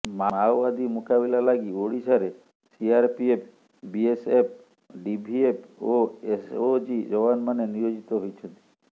ମାଓବାଦୀ ମୁକାବିଲା ଲାଗି ଓଡ଼ିଶାରେ ସିଆରପିଏଫ୍ ବିଏସଏପ୍ ଡିଭିଏଫ୍ ଓ ଏସଓଜି ଯବାନମାନେ ନିୟୋଜିତ ହୋଇଛନ୍ତି